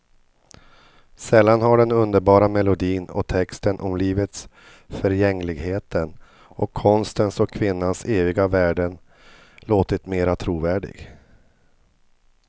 Sällan har den underbara melodin och texten om livets förgängligheten och konstens och kvinnans eviga värden låtit mera trovärdig.